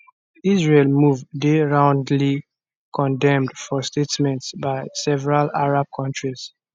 israel move dey roundly condemned for statements by several arab countries